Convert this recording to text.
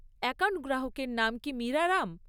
Account গ্রাহকের নাম কি মীরা রাম?